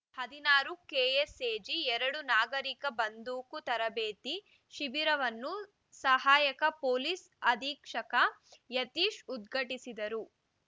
ಹದಿನಾರು ಕೆಎಸ್‌ಎಜಿ ಎರಡು ನಾಗರಿಕ ಬಂದೂಕು ತರಬೇತಿ ಶಿಬಿರವನ್ನು ಸಹಾಯಕ ಪೊಲೀಸ್‌ ಅಧಿಕ್ಷಕ ಯತೀಶ್‌ ಉದ್ಘಾಟಿಸಿದರು